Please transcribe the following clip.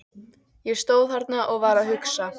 Ég stóð þarna og var að hugsa.